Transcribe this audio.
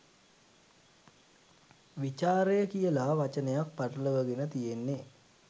"විචාරය" කියලා වචනයක් පටලවගෙන තියෙන්නේ.